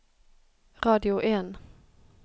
radio en